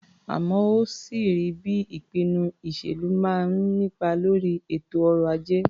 Àmọ́ ó sì rí bí ìpinnu ìṣèlú máa ń nípa lórí ètò ọrọ̀-ajé.